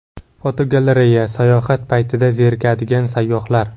Fotogalereya: Sayohat paytida zerikadigan sayyohlar.